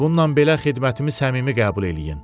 Bununla belə xidmətimi səmimi qəbul eləyin.